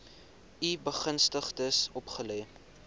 u begunstigdes opgelê